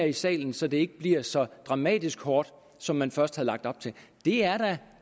i salen så det ikke bliver så dramatisk hårdt som man først havde lagt op til det er da